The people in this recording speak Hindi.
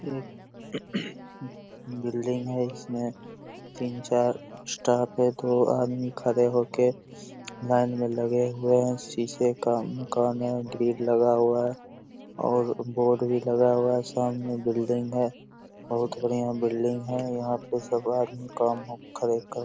एक बिल्डिंग है इसमें तीन चार स्टाफ है दो आदमी खड़े होके लाइन में लगे हुए हैं। शीशे का मकान है ग्रिल लगा हुआ है और बोर्ड भी लगा हुआ है| सामने बिल्डिंग है बोहोत बढ़िया बिल्डिंग है यहाँ पे सब आदमी काम